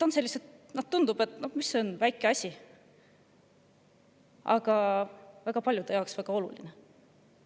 Need tunduvad sellised väikesed asjad, aga paljude jaoks on need väga olulised.